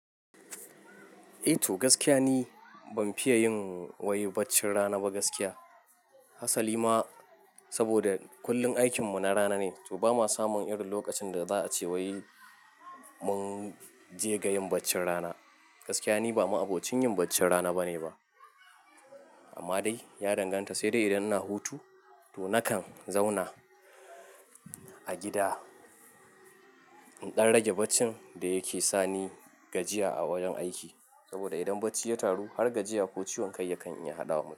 Eh to gaskiya ni ban fiye yin wai baccin rana ba gaskiya. Hasali ma saboda kullum aikin mu na rana ne, to ba ma samun irin lokacin da za a ce wai mun je ga yin baccin rana. Gaskiya ni ba ma abocin yin baccin rana bane ba. Amma dai ya danganta, sai dai idan ina hutu to nakan zauna a gida in ɗan rage baccin da yake sani gajiya a wajen aiki. Saboda idan bacci ya taru har gajiya ko ciwon kai yakan iya haɗawa mutum.